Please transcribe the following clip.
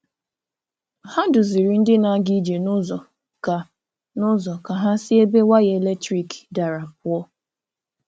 Hà duzìrì̀ ndị na-aga ije n’ụzọ ka n’ụzọ ka hà si ebe waya eletrik darà pụọ̀.